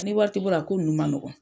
N'i wari ti bolo a ko nunnu ma nɔgɔn.